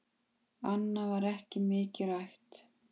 Annað var ekki mikið rætt.